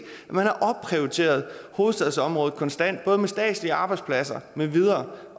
man har opprioriteret hovedstadsområdet konstant med statslige arbejdspladser med videre